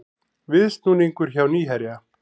Viðsnúningur hjá Nýherja